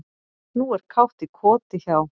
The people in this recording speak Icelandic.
Nú er kátt í koti hjá